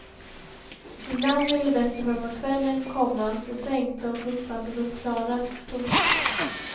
Ibland blev det bättre framåt kvällen, komma då tänkte och uppfattade hon klarast. punkt